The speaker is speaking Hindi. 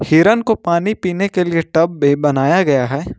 हिरन को पानी पीने के लिए टब भी बनाया गया है।